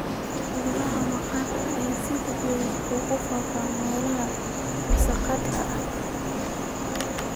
Cudurada maqaarka ayaa si degdeg ah ugu faafa meelaha wasakhda ah.